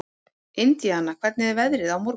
Indiana, hvernig er veðrið á morgun?